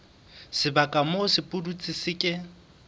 sebaka moo sepudutsi se ke